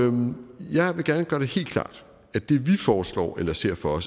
om jeg vil gerne gøre det helt klart at det vi foreslår eller ser for